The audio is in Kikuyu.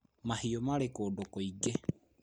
Mahiũ marĩ kũndũ kũingĩ.